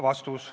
" Vastus.